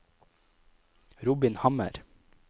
Robin Hammer